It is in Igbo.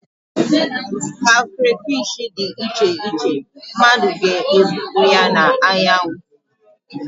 ka crayfish dị iche iche, mmadụ ga-ebupụ ya na anyanwụ